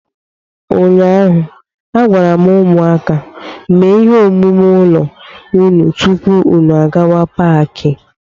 Ụnyaahụ, a gwara m ụmụaka, mee ihe omume ụlọ unu tupu unu gawa n'Paakị!